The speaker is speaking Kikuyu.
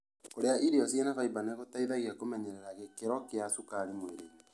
Kũrĩa irio cĩina faimba nĩ gũteithagia kũmenyerera gĩkĩro kĩa cukari mwĩrĩinĩ.